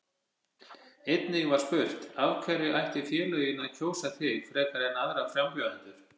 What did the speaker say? Einnig var spurt: Af hverju ættu félögin að kjósa þig frekar en aðra frambjóðendur?